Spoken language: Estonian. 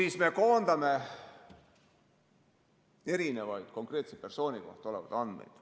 ... kus me koondame erinevaid konkreetse persooni kohta olevaid andmeid.